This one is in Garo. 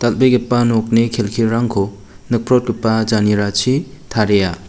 dal. begipa nokni kelkirangko nikprotgipa janerachi taria.